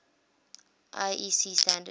iec standards